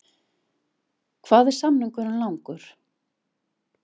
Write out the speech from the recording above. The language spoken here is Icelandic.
Hvað er samningurinn langur?